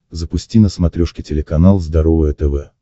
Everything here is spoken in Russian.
запусти на смотрешке телеканал здоровое тв